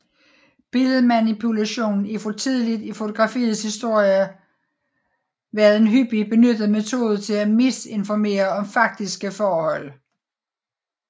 Billedmanipulation er fra tidligt i fotografiets historie været en hyppigt benyttet metode til at misininformere om faktiske forhold